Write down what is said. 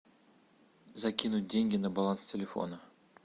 закинуть деньги на баланс телефона